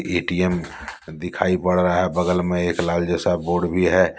ATM दिखाई पड़ रहा है बगल में एक लाल जैसा बोर्ड भी है।